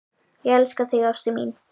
Ég elska þig ástin mín.